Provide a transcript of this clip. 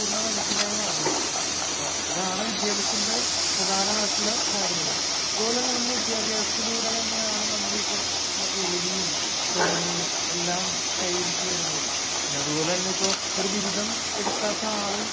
പൂർണ മനുഷ്യനായി മാറുന്നത്. ഇതാണ് വിദ്യാഭ്യാസത്തിന്റെ പ്രധാനമായിട്ടുള്ള കാര്യങ്ങള്. അത് പോലെ തന്നെ നമ്മള് വിദ്യാഭ്യാസത്തിലൂടെയാണ് നമ്മൾ ഈ പറയുന്ന ജോലിയും തുടങ്ങീ എല്ലാം കൈവരിച്ചു വരുന്നത്.അത് പോലെ തന്നെ ഇപ്പോ ഒരു ബിരുദം എടുക്കാത്ത ആള്